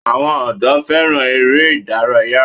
àwọn ọ̀dọ́ fẹ́ràn eré ìdárayá.